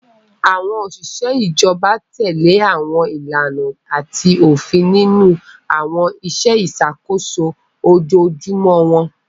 Àwọn òṣìṣẹ́ ìjọba tẹ̀lé àwọn ìlànà àti òfin nínú àwọn iṣẹ́ ìṣàkóso ojoojúmọ́ wọn.